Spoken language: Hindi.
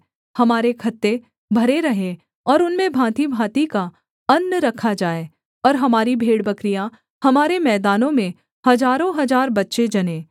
हमारे खत्ते भरे रहें और उनमें भाँतिभाँति का अन्न रखा जाए और हमारी भेड़बकरियाँ हमारे मैदानों में हजारों हजार बच्चे जनें